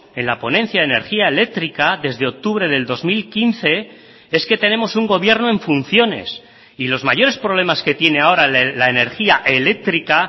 en la ponencia de energía eléctrica desde octubre del dos mil quince es que tenemos un gobierno en funciones y los mayores problemas que tiene ahora la energía eléctrica